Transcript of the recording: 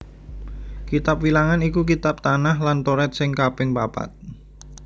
Kitab Wilangan iku kitab Tanakh lan Toret sing kaping papat